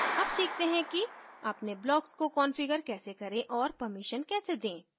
अब सीखते हैं कि अपने blocks को कंफिगर कैसे करें और permission कैसे दें